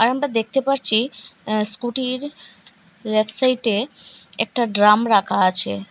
আমরা দেখতে পারছি আ-স্কুটির এক সাইটে একটা ড্রাম রাখা আছে।